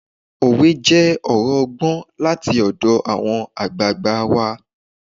Òwe jẹ́ ọ̀rọ̀ ọgbọ́n láti ọ̀dọ̀ àwọn àgbààgbà wa